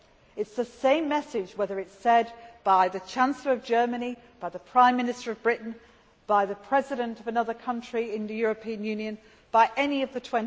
It is the same message, whether it is said by the Chancellor of Germany, by the Prime of Minister of Britain, by the President of another country in the European Union, by any of the